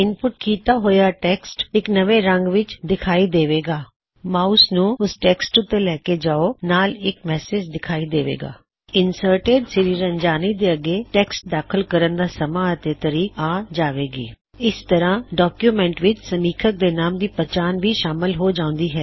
input ਕੀਤਾ ਹੋਇਆ text ਇਕ ਨਵੇ ਰੰਗ ਵਿੱਚ ਦਿਖਾਈ ਦੇਵੇ ਗਾ ਮਾਉਸ ਨੂੰ ਓਸ ਟੈੱਕਸਟ ਉੱਤੇ ਲੈ ਕੇ ਜਾੳਣ ਨਾਲ ਇਕ ਸੰਦੇਸ਼ ਵਿਖਾਈ ਦੇਵੇ ਗਾ ਇੰਸਰਟਿਡ sriranjaniਤੇ ਅਗੇ ਟੈਕਸਟ ਦਾਖਲ ਕਰਨ ਦਾ ਸਮਾ ਅਤੇ ਤਾਰੀਕ ਆ ਜਾਵੇ ਗੀ ਇਸ ਤਰਹ ਡੌਕਯੁਮੈੱਨਟ ਵਿੱਚ ਸਮੀਥਕ ਦੇ ਨਾਮ ਦੀ ਪਛਾਣ ਵੀ ਸ਼ਾਮਲ ਹੋ ਜਾਉੰਦੀ ਹੈ